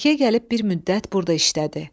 Bakıya gəlib bir müddət burda işlədi.